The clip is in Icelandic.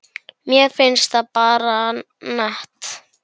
Mér finnst það bara nett.